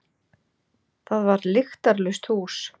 Það var lyktarlaust hús.